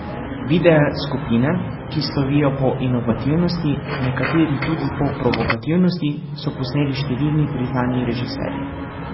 Videe skupine, ki slovijo po inovativnosti, nekateri tudi po provokativnosti, so posneli številni priznani režiserji.